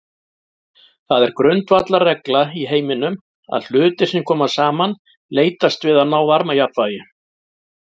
Það er grundvallarregla í heiminum að hlutir sem koma saman leitast við að ná varmajafnvægi.